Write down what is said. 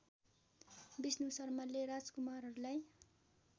विष्णु शर्माले राजकुमारहरूलाई